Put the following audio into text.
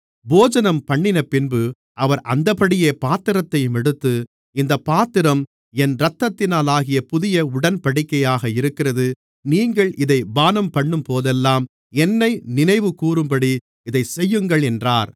போஜனம்பண்ணினபின்பு அவர் அந்தப்படியே பாத்திரத்தையும் எடுத்து இந்தப் பாத்திரம் என் இரத்தத்தினாலாகிய புதிய உடன்படிக்கையாக இருக்கிறது நீங்கள் இதைப் பானம்பண்ணும்போதெல்லாம் என்னை நினைவுகூரும்படி இதைச்செய்யுங்கள் என்றார்